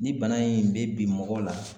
Ni bana in be bin mɔgɔ la